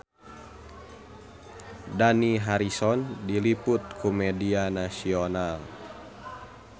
Dani Harrison diliput ku media nasional